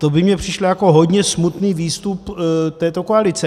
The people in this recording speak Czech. To by mně přišlo jako hodně smutný výstup této koalice.